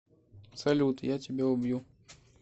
салют я тебя убью